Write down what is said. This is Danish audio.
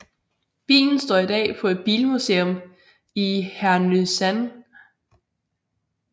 Bilen står i dag på et bilmuseum i Härnösand